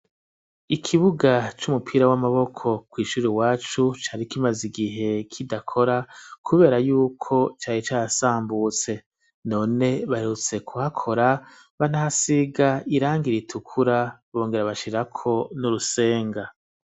ikibuga c'umupira w'amaboko kw'ishuri iwacu cari kimaze igihe kidakora kubera yuko cari carasambutse, none baherutse kuhakora banasiga irangi ritukura bongera bashirako n'urusenga.